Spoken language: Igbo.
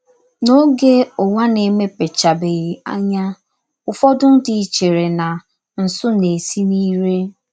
N’ọge ụwa na - emepechabeghị anya, ụfọdụ ndị chere na nsụ na - esi n’ire.